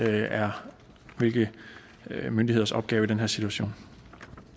er hvilke myndigheders opgave i den her situation